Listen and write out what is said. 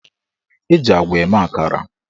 Eji agwa eme akara.